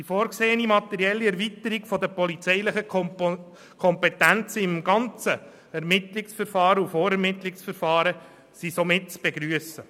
Die vorgesehene materielle Erweiterung der polizeilichen Kompetenzen im ganzen Ermittlungs- und Vorermittlungsverfahren sind somit zu begrüssen.